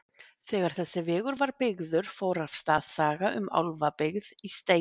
Þegar þessi vegur var byggður fór af stað saga um álfabyggð í steinunum.